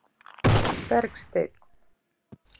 Bergsteinn